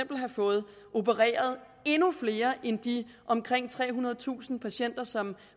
kunne have fået opereret endnu flere end de omkring trehundredetusind patienter som